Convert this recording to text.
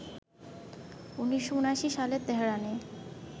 ১৯৭৯ সালে তেহরানে